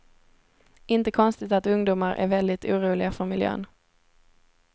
Inte konstigt att ungdomar är väldigt oroliga för miljön.